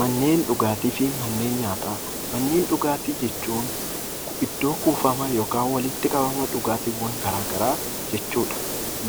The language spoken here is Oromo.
Manneen dhugaatii fi manneen nyaataa Manneen dhugaatii jechuun iddoo kuufama yookaan walitti qabama dhugaatiiwwan gara garaa jechuu dha.